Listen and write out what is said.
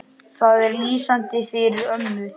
Það er lýsandi fyrir ömmu.